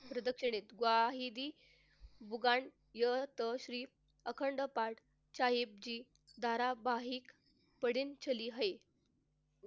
प्रदक्षिणेत ग्वाही बुगान यताश्री अखंड पाठ साहेब जी धारावाहिक